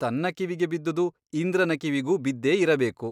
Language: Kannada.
ತನ್ನ ಕಿವಿಗೆ ಬಿದ್ದುದು ಇಂದ್ರನ ಕಿವಿಗೂ ಬಿದ್ದೇ ಇರಬೇಕು.